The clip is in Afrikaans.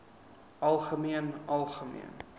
algemeen algemeen